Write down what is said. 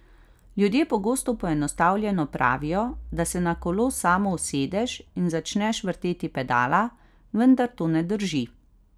Ljudje pogosto poenostavljeno pravijo, da se na kolo samo usedeš in začneš vrteti pedala, vendar to ne drži.